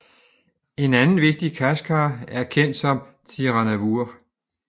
En anden vigtig Khachkar er kendt som Tsiranavour